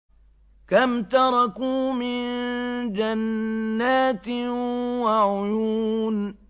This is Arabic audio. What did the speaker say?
كَمْ تَرَكُوا مِن جَنَّاتٍ وَعُيُونٍ